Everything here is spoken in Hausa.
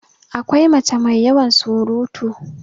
akwai mace mai yawan surutu